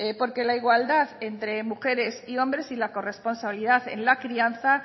porque la igualdad entre mujeres y hombres y la corresponsabilidad en la crianza